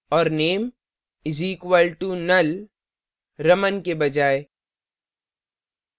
और name is equal to null raman के बजाय